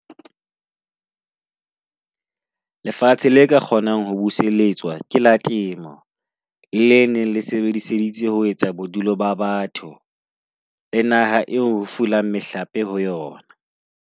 Lefatshe le ka kgonang ho buseletswa ke la temo. Le ne le sebedisitswe ho etsa bodulo ba batho le naha eo ho fulang mehlape ho yona.